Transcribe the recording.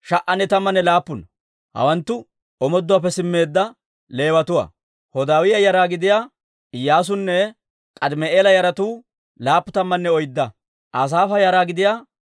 Geeshsha Golliyaan ootsiyaa k'oomatuwaa yaratuwaa: S'iiha yaratuwaa, Hasuufa yaratuwaa, S'abba'oota yaratuwaa,